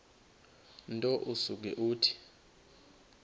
nto usuke uthi